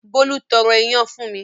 Bólú tọrọ fún iyán mi.